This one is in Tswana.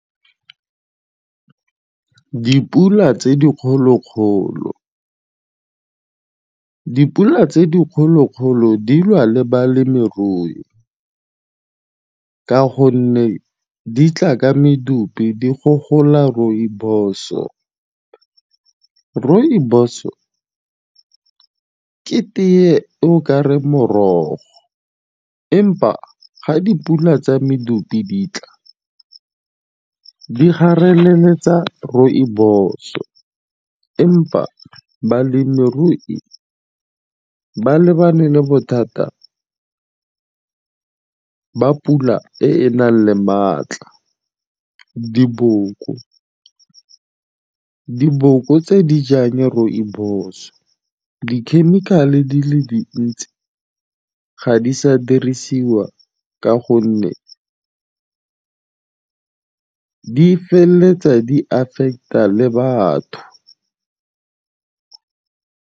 Dipula tse dikgolo-kgolo. Dipula tse dikgolo-kgolo di lwa le balemirui ka gonne di tla ka medupi di gogola rooibos-o. Rooibos-o ke tee e o kareng morogo empa ga dipula tsa medupi di tla di gareleletsa rooibos-o empa balemirui ba lebane le bothata ba pula e e nang le maatla. Diboko, diboko tse dijang rooibos-o di-chemical-e di le dintsi ga di sa dirisiwa ka gonne di feleletsa di affect-a le batho.